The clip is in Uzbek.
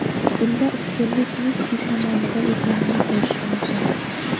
Bunda ustunlik Messi tomonida ekanini ko‘rish mumkin.